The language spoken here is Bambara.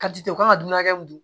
Ka di u kan ka dunan hakɛ mun dun